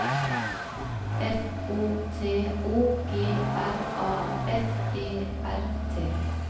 F O T O G R A F E R T